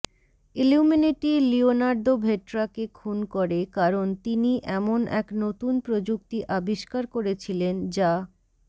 Illuminati Leonardo ভেট্রাকে খুন করে কারণ তিনি এমন এক নতুন প্রযুক্তি আবিষ্কার করেছিলেন যা